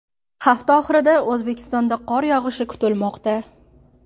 Hafta oxirida O‘zbekistonda qor yog‘ishi kutilmoqda.